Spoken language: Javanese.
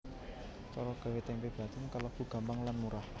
Cara gawé tempe bacém kalébu gampang lan murah